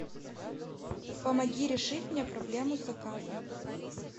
помоги решить мне проблему с заказом